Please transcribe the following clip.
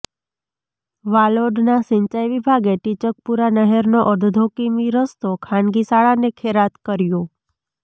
વાલોડના સિંચાઈ વિભાગે ટીચકપુરા નહેરનો અડધો કિમી રસ્તો ખાનગી શાળાને ખેરાત કર્યો